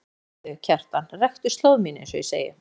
Talaðu við þau, Kjartan, rektu slóð mína einsog ég segi.